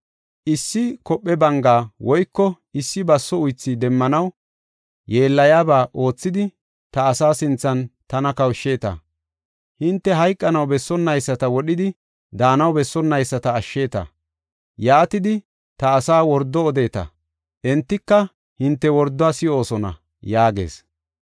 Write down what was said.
Issi kophe banga woyko issi baso uythi demmanaw, yeellayaba oothidi, ta asaa sinthan tana kawushsheeta. Hinte hayqanaw bessonnayisata wodhidi daanaw bessonnayisata ashsheeta. Yaatidi ta asaa wordo odeeta; entika hinte worduwa si7oosona’ ” yaagees.